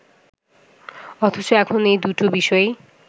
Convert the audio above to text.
অথচ এখন এ দুটো বিষয়ই